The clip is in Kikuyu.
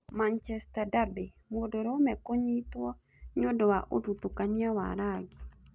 Manchester derby; mũndũrũme kũnyitũo nĩũndũ wa ũthutũkania wa rangi